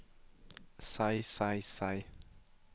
seg seg seg